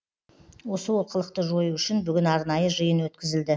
осы олқылықты жою үшін бүгін арнайы жиын өткізілді